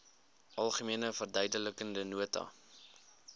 algemene verduidelikende nota